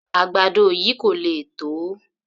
Àgbàdo yìí kò le tó